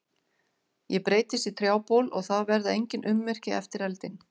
Ég breytist í trjábol og það verða engin ummerki eftir eldinn.